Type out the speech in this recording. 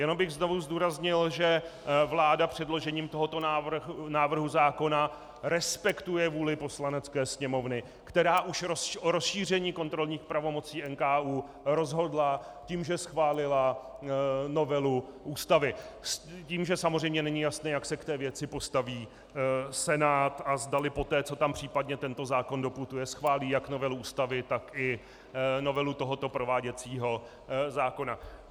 Jenom bych znovu zdůraznil, že vláda předložením tohoto návrhu zákona respektuje vůli Poslanecké sněmovny, která už rozšíření kontrolních pravomocí NKÚ rozhodla tím, že schválila novelu Ústavy s tím, že samozřejmě není jasné, jak se k té věci postaví Senát a zdali poté, co tam případně tento zákon doputuje, schválí jak novelu Ústavy, tak i novelu tohoto prováděcího zákona.